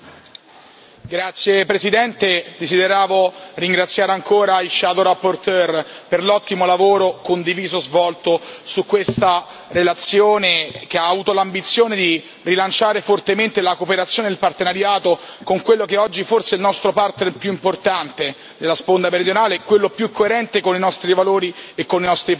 Signor Presidente, onorevoli colleghi, desideravo ringraziare ancora i relatori ombra per l'ottimo lavoro condiviso svolto su questa relazione, che ha avuto l'ambizione di rilanciare fortemente la cooperazione e il partenariato con quello che oggi è forse il nostro partner più importante nella sponda meridionale e quello più coerente con i nostri valori e con i nostri principi.